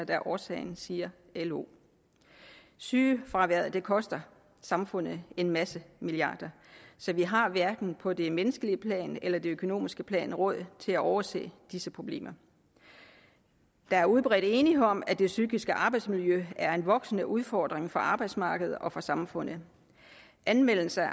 er årsagen siger lo sygefraværet koster samfundet en masse milliarder så vi har hverken på det menneskelige plan eller det økonomiske plan råd til at overse disse problemer der er udbredt enighed om at det psykiske arbejdsmiljø er en voksende udfordring for arbejdsmarkedet og for samfundet anmeldelser af